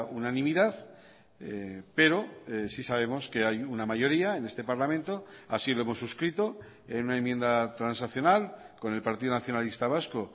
unanimidad pero sí sabemos que hay una mayoría en este parlamento así lo hemos suscrito en una enmienda transaccional con el partido nacionalista vasco